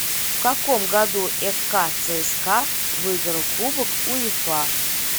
в каком году фк цска выиграл кубок уефа